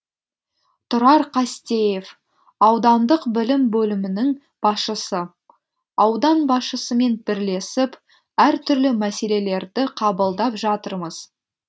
тұрар қастеев аудандық білім бөлімінің басшысы аудан басшысымен бірлесіп әртүрлі мәселелерді қабылдап жатырмыз